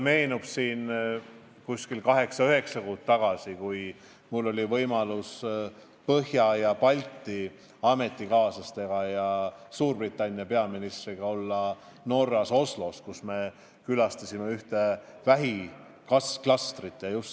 Kaheksa või üheksa kuud tagasi oli mul võimalus Põhja- ja Baltimaade ametikaaslastega ning Suurbritannia peaministriga Norras Oslos tutvuda ühe vähiklastriga.